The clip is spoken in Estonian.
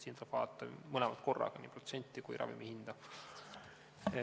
Siin tuleb vaadata mõlemat korraga, nii protsenti ka kui ravimi hinda.